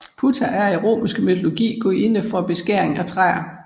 Puta er i romerske mytologi gudinde for beskæring af træer